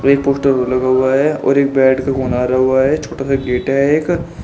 Poster लगा हुआ है और बेड का हुआ है छोटा सा गेट है एक।